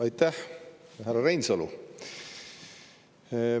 Aitäh, härra Reinsalu!